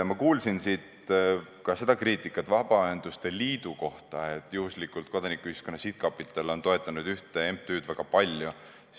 Ma kuulsin siin Vabaühenduste Liidu kohta ka seda kriitikat, et Kodanikuühiskonna Sihtkapital on toetanud väga palju ühte MTÜ-d.